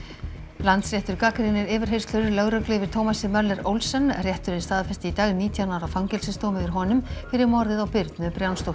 Landsréttur gagnrýnir yfirheyrslur lögreglu yfir Thomasi Möller Olsen rétturinn staðfesti í dag nítján ára fangelsisdóm yfir honum fyrir morðið á Birnu